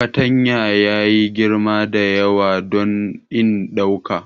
Fatanyan ya yi girma da yawa don in ɗauka.